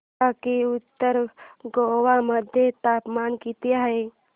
सांगा की उत्तर गोवा मध्ये तापमान किती आहे